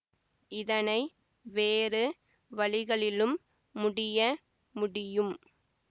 இதனை வேறு வழிகளிலும் முடிய முடியும்